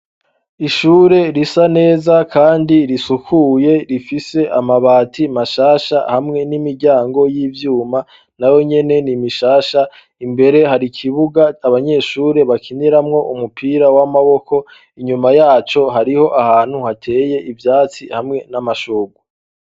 Ishure risa neza kandi risukuye rifise amabati mashasha hamwe n'imiryango y' ivyuma nayonyene ni mishasha, imbere hari kibuga abanyeshure bakiniramwo umupira w'amaboko, inyuma yaco hariho ahantu hateye ivyatsi hamwe n'amashurwe.